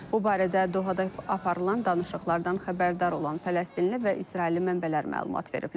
Bu barədə Dohada aparılan danışıqlardan xəbərdar olan Fələstinli və İsrailli mənbələr məlumat veriblər.